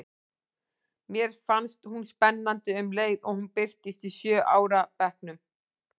Mér fannst hún spennandi um leið og hún birtist í sjö ára bekknum.